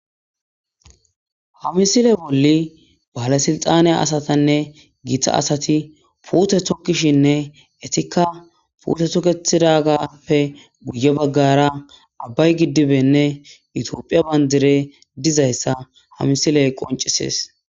Hamisile bolli baalesilxaneya asatanne giita asati puute tokishinne etikka puute tokethidagappe guye baggara abbay giddibenne itioophiya bandire dizayssa ha misiley qoncisees.